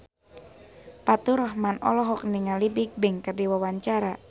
Faturrahman olohok ningali Bigbang keur diwawancara